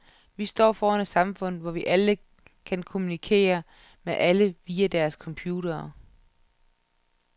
Vi står foran et samfund, hvor alle kan kommunikere med alle via deres computere.